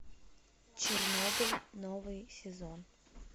чернобыль новый сезон